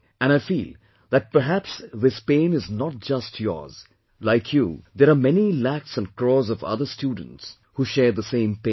And I feel that perhaps this pain is not just yours; like you there are many lakhs and crores of other students who share the same pain